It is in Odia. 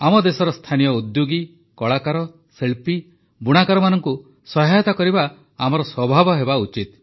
ଆମ ଦେଶର ସ୍ଥାନୀୟ ଉଦ୍ୟୋଗୀ କଳାକାର ଶିଳ୍ପୀ ବୁଣାକାରମାନଙ୍କୁ ସହାୟତା କରିବା ଆମର ଅଭ୍ୟାସ ହେବା ଉଚିତ